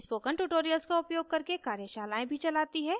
spoken tutorials का उपयोग करके कार्यशालाएँ भी चलाती है